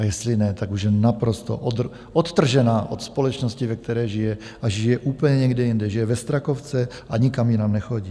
A jestli ne, tak už je naprosto odtržená od společnosti, ve které žije, a žije úplně někde jinde, žije ve Strakovce a nikam jinam nechodí.